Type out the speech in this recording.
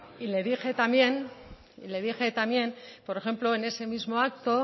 mesedez isiltasuna y le dije también por ejemplo